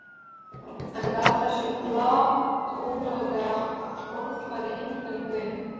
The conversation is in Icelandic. Hann gaf þessu galgopalega orðfæri engan gaum.